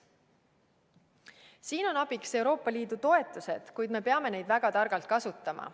Siin on abiks Euroopa Liidu toetused, kuid me peame neid väga targalt kasutama.